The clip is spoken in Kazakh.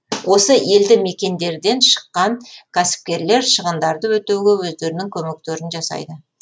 осы елді мекендерден шыққан кәсіпкерлер шығындарды өтеуге өздерінің көмектерін жасайды